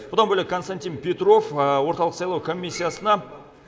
бұдан бөлек константин петров орталық сайлау комиссиясына